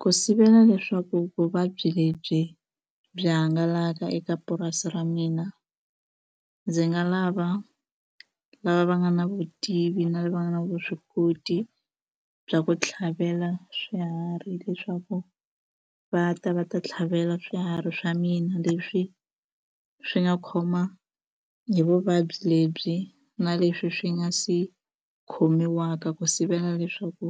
Ku sivela leswaku vuvabyi lebyi byi hangalaka eka purasi ra mina ndzi nga lava lava va nga na vutivi na lava nga na vuswikoti bya ku tlhavela swiharhi leswaku va ta va ta tlhavela swiharhi swa mina leswi swi nga khoma hi vuvabyi lebyi na leswi swi nga se khomiwaka ku sivela leswaku